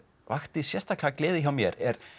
vakti sérstaklega gleði hjá mér er